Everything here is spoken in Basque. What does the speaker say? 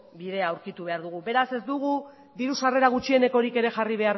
bidea aurkitu behar dugu beraz ez dugu diru sarrera gutxienekorik ere jarri